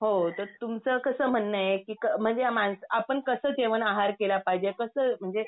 तर तुमचं कसं म्हणणंये कि म्हणजे मानस आपण कसं जेवण आहार केला पाहिजे कसं म्हणजे